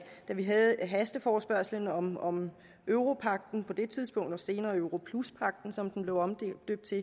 da vi havde hasteforespørgslen om om europagten og senere europluspagten som den blev omdøbt til